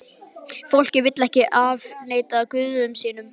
Fólkið vill ekki afneita guðum sínum.